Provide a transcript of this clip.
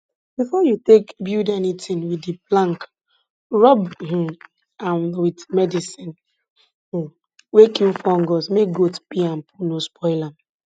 before you take build anything with di plank rub um am with medicine um wey kill fungus make goat pee and poo no spoil am